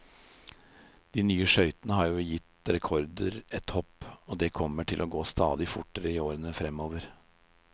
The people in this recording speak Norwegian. De nye skøytene har jo gitt rekordene et hopp, og det kommer til å gå stadig fortere i årene fremover.